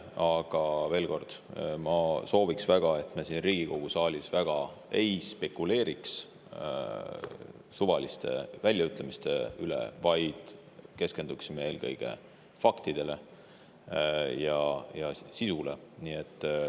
Aga veel kord: ma sooviks väga, et me siin Riigikogu saalis väga ei spekuleeriks suvaliste väljaütlemiste üle, vaid keskenduksime eelkõige faktidele ja sisule.